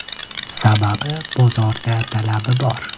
Sababi bozorda talab bor.